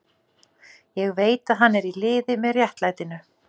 Ég veit að hann er í liði með réttlætinu.